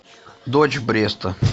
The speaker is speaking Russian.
дочь бреста